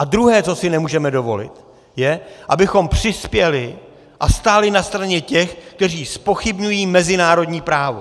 A druhé, co si nemůžeme dovolit, je, abychom přispěli a stáli na straně těch, kteří zpochybňují mezinárodní právo.